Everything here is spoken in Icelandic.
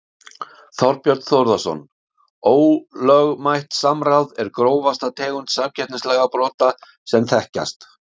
Þorbjörn Þórðarson: Ólögmætt samráð er grófasta tegund samkeppnislagabrota sem þekkjast?